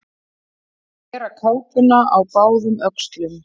Að bera kápuna á báðum öxlum